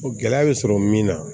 Gɛlɛya bɛ sɔrɔ min na